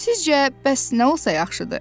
Sizcə bəs nə olsa yaxşıdır?